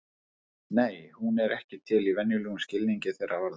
Nei, hún er ekki til í venjulegum skilningi þeirra orða.